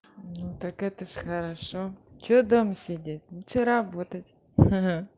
ну так это ж хорошо что дома сидеть лучше работать ха-ха